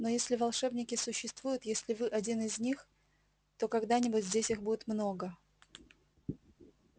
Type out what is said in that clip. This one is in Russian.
но если волшебники существуют если вы один из них то когда-нибудь здесь их будет много